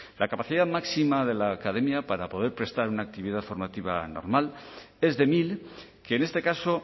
la capacidad máxima de la academia para poder prestar una actividad formativa normal es de mil que en este caso